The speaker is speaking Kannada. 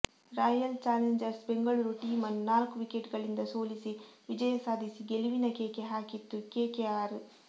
ರಾಯಲ್ ಚಾಲೆಂಜರ್ಸ್ ಬೆಂಗಳೂರು ಟೀಂ ಅನ್ನು ನಾಲ್ಕು ವಿಕೆಟ್ ಗಳಿಂದ ಸೋಲಿಸಿ ವಿಜಯ ಸಾಧಿಸಿ ಗೆಲುವಿನ ಕೇಕೆ ಹಾಕಿತ್ತು ಕೆಕೆಆರ್